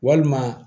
Walima